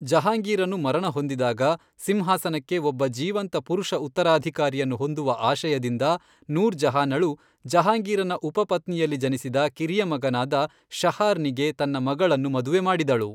ಜಹಾಂಗೀರನು ಮರಣ ಹೊಂದಿದಾಗ ಸಿಂಹಾಸನಕ್ಕೆ ಒಬ್ಬ ಜೀವಂತ ಪುರುಷ ಉತ್ತರಾಧಿಕಾರಿಯನ್ನು ಹೊಂದುವ ಆಶಯದಿಂದ ನೂರ್ ಜಹಾನಳು ಜಹಾಂಗೀರನ ಉಪಪತ್ನಿಯಲ್ಲಿ ಜನಿಸಿದ ಕಿರಿಯ ಮಗನಾದ ಶಹಾರ್ ನಿಗೆ ತನ್ನ ಮಗಳನ್ನು ಮದುವೆ ಮಾಡಿದಳು.